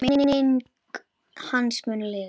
Enn fleiri spor.